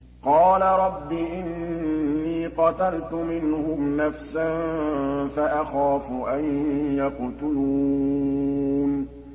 قَالَ رَبِّ إِنِّي قَتَلْتُ مِنْهُمْ نَفْسًا فَأَخَافُ أَن يَقْتُلُونِ